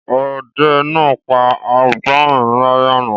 Ọdẹ náà pa agbọnrìn lálẹ́ àná.